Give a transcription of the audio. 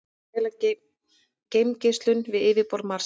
Mæla geimgeislun við yfirborð Mars.